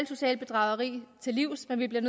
sociale bedrageri til livs men vi bliver